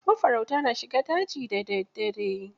Mafarauta na shiga daji da daddare.